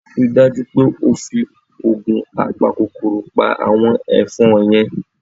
Rí i dájú pé o fi oògun apakòkòrò pa àwọn ẹ̀fọn yẹn!